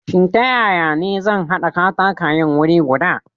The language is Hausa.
Shin ta ya ya ne zan haɗa katakayen wuri guda?